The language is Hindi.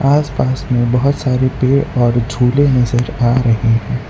आसपास में बहोत सारे पेड़ और झूले नजर आ रहे है।